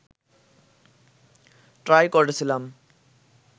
try করেছিলাম